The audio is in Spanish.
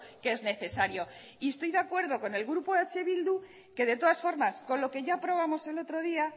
que es necesario y estoy de acuerdo con el grupo eh bildu que de todas formas con lo que ya aprobamos el otro día